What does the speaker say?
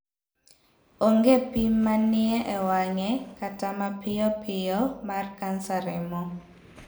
Onge pim manie ewang'e kata mapiyopiyo mar kansa remo.